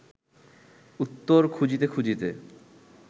উত্তর খুঁজিতে খুঁজিতে